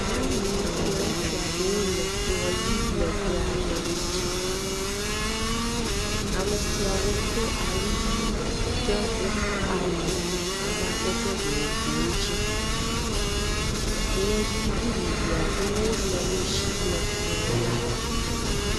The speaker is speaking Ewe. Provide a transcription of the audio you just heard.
Nyɔnuwo kple ŋutsu aɖe wole kplɔ ʋi legbe aɖe ŋutsi. Ame siawo do awu ʋi ɖe woƒe awu amadede vovovowo dzi. Ŋegui vivivi aɖewo le wo si le kplɔ la ŋu